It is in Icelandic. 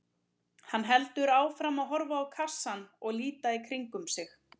Hann heldur áfram að horfa á kassann og líta í kringum sig.